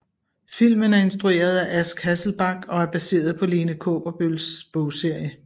Filmen er instrueret af Ask Hasselbalch og er baseret på Lene Kaaberbøls bogserie